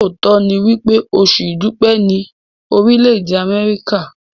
lóòtó ní wípé Oṣù idupẹ ni Orile-ede Amẹrika.